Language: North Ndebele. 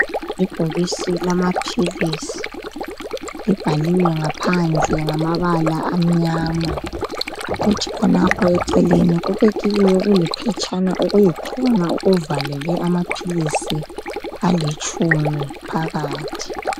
Ibhokisi lamaphilisi, libhaliwe ngaphandle ngamabala amnyama kuthi khonapho eceleni kubekiwe okuliphetshana okuyikhona okuvalele amaphilisi alitshumi phakathi.